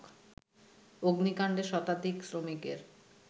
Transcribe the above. অগ্নিকাণ্ডে শতাধিক শ্রমিকের